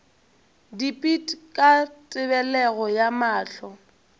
dipit ka tebelego ya mahlo